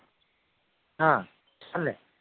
હ ચાલે